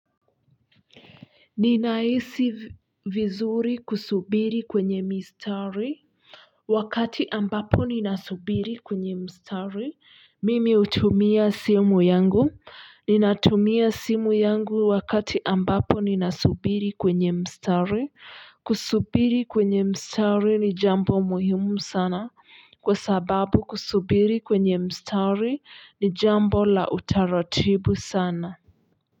Ninahisi vizuri kusubiri kwenye mistari. Wakati ambapo ninasubiri kwenye mstari, mimi utumia simu yangu, ninatumia simu yangu wakati ambapo ninasubiri kwenye mstari kusubiri kwenye mstari ni jambo muhimu sana kwa sababu kusubiri kwenye mstari ni jambo la utaratibu sana.